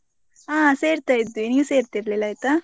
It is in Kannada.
ಹಾ ಸೆರ್ತಾ ಇದ್ವಿ, ನೀವು ಸೇರ್ತಿರ್ಲಿಲ್ಲ ಆಯ್ತಾ?